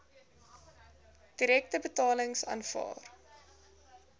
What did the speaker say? direkte betalings aanvaar